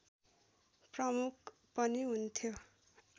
प्रमुख पनि हुन्थ्यो